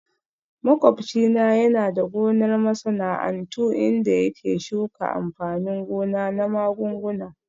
Makwabci na yana da gonar masana'antu inda yake shuka amfanin gona na magunguna